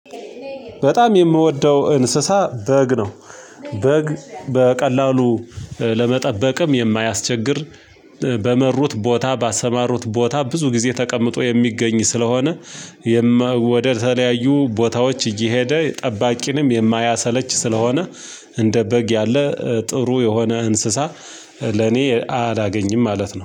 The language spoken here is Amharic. በጣም የምወደው እንስሳ በግ ነው። በግ በቀላሉ ለመጠበቅም የማያስቸግር በመሩት ቦታ ባሰማሩት ቦታ ብዙ ጊዜ ተቀምጦ የሚገኝ ስለሆነ ወደተለያዩ ቦታዎች እየሄደ ጠባቂንም የማያሰለች ስለሆነ እንደ በግ ያለ ጥሩ የሆነ እንስሳ ለኔ አላገኝም ማለት ነው።